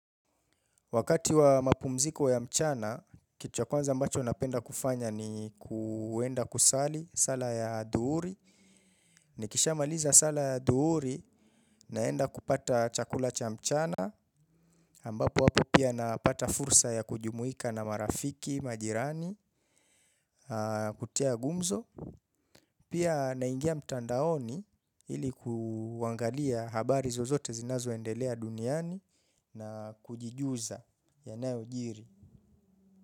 Wakati wa mapumziko ya mchana, kitu cha kwanza ambacho napenda kufanya ni kuenda kusali sala ya adhuhuri. Nikisha maliza sala ya adhuhuri naenda kupata chakula cha mchana. Ambapo hapo pia napata fursa ya kujumuika na marafiki, majirani, kutia gumzo. Pia naingia mtandaoni ilikuangalia habari zozote zinazo endelea duniani na kujijuza yanayo jiri.